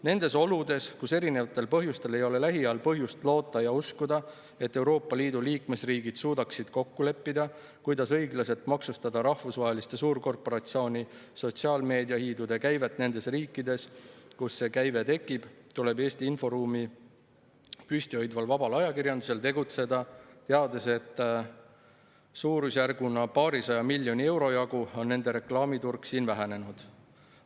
Nendes oludes, kus erinevatel põhjustel ei ole lähiajal põhjust loota ja uskuda, et Euroopa Liidu liikmesriigid suudaksid kokku leppida, kuidas õiglaselt maksustada rahvusvaheliste suurkorporatsioonide, sotsiaalmeediahiidude käivet nendes riikides, kus see tekib, tuleb Eesti inforuumi püsti hoidval vabal ajakirjandusel tegutseda teades, et suurusjärguna paarisaja miljoni euro jagu on nende reklaamiturg siin vähenenud.